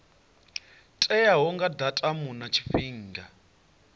teaho nga datumu na tshifhinga